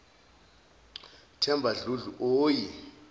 themba dludlu oyi